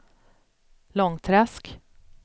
Långträsk